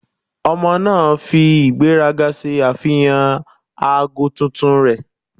Ọmọ naa fi igberaga ṣe afihan aago tuntun rẹ.